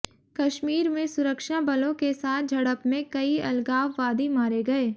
कश्मीर में सुरक्षा बलों के साथ झड़प में कई अलगाववादी मारे गये